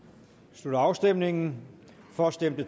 slutter afstemningen for stemte